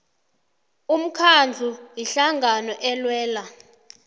umkhandlu ihlangano elwela